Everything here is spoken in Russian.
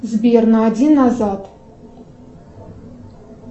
сбер на один назад